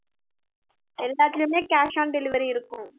எல்லாத்துலையுமே cash on delivery இருக்கும்